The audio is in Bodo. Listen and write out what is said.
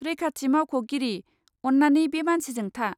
रैखाथि मावख'गिरि, अन्नानै बे मानसिजों था।